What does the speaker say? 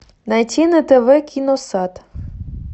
найти на тв киносад